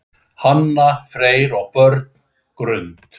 Hanna, Freyr og börn, Grund.